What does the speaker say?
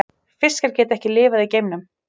Fiskar geta ekki lifað í geimnum.